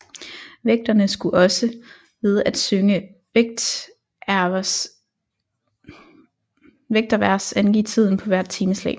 Vægterne skulle også ved at synge vægtervers angive tiden på hvert timeslag